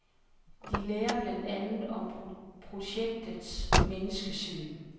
De lærer blandt andet om projektets menneskesyn.